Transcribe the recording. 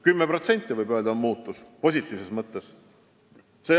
Samuti on see vahe vähenenud valitsuse ja peaministri puhul.